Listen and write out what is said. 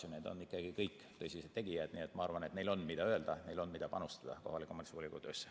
Nad on ikkagi kõik tõsised tegijad, nii et ma arvan, et neil on, mida öelda, ja neil on, mida panustada kohaliku omavalitsuse volikogu töösse.